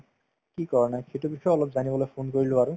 কি কৰা নাই সেইটোৰ বিষয়ে অলপ জানিবলৈ phone কৰিলো আৰু